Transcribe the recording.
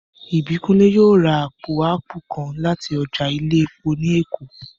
Ìbílọlá yóò ra àpò áàpù kan láti ọjà ilé epo ní Èkó